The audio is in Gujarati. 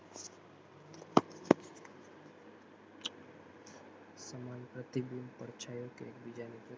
પ્રતિબિંદ પડછાયો કે એક બીજાની